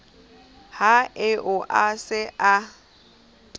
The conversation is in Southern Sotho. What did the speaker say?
ha eo a se a